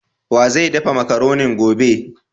Wa zai daffa macaronin gobe?